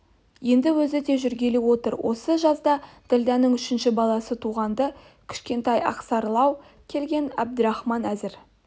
енді өзі де жүргелі отыр осы жазда ділдәнің үшінші баласы туған-ды кішкентай ақсарылау келген әбдірахман әзір